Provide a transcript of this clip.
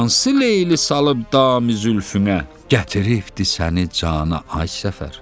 Hansı Leyli salıb damı zülfünə, gətiribdi səni cana, ay Səfər?